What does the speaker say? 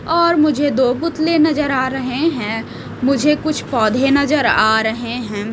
और मुझे दो पुतले नजर आ रहे हैं मुझे कुछ पौधे नजर आ रहे हैं।